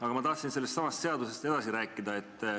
Aga ma tahan sellestsamast seadusest edasi rääkida.